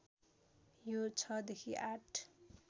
यो ६ देखि ८